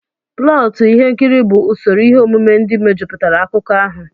Plọtụ Ihe nkiri bụ usoro ihe omume ndị mejupụtara akụkọ ahụ.